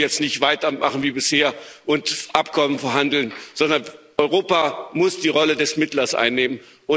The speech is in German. Wir können jetzt nicht weitermachen wie bisher und Abkommen verhandeln, sondern Europa muss die Rolle des Mittlers einnehmen.